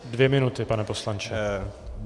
Dvě minuty, pane poslanče.